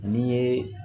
Ni ye